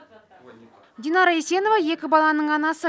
динара исенова екі баланың анасы